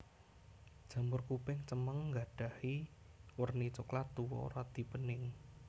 Jamur kuping cemeng nggadhahi werni coklat tuwa radi bening